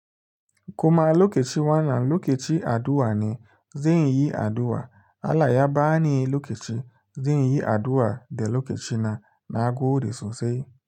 Kuma lokaci wanna lokaci addu'a ne, zan yi addu'a Allah ya bani lokaci, zan yi addu'a da lokacina na gode sosai.